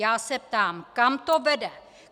Já se ptám: Kam to vede?